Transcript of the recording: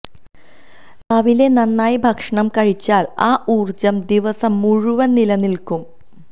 രാവിലെ നന്നായി ഭക്ഷണം കഴിച്ചാൽ ആ ഊർജ്ജം ദിവസം മുഴുവൻ നിലനിൽക്കും